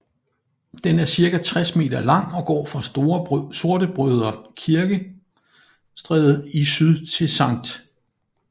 Den er cirka 60 meter lang og går fra Sortebrødre Kirke Stræde i syd til Sct